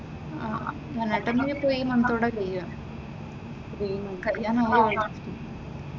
ആഹ് anatomy ഇപ്പോ ഈ മന്തോടെ കഴിയും, കഴിയാനുള്ളതായി.